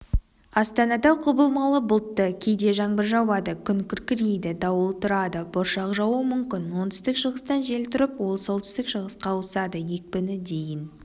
астанада құбылмалы бұлтты кейде жаңбыр жауады күн күркірейді дауыл тұрады бұршақ жаууы мүмкін оңтүстік-шығыстан жел тұрып ол солтүстік-шығысқа ауысады екпіні дейін